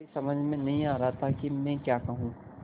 मेरी समझ में नहीं आ रहा था कि मैं क्या कहूँ